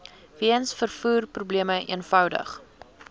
weens vervoerprobleme eenvoudig